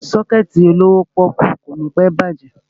Sọ́kẹ̀tì olówó pọ́ọ́kú ò ní pẹ́ bàjẹ́.